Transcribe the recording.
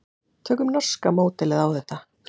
Tökum norska módelið á þetta.